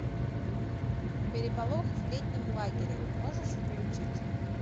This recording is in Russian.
переполох в летнем лагере можешь включить